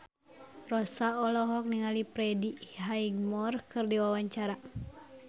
Rossa olohok ningali Freddie Highmore keur diwawancara